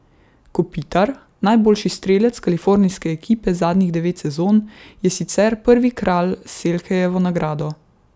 Kopitar, najboljši strelec kalifornijske ekipe zadnjih devet sezon, je sicer prvi kralj s Selkejevo nagrado.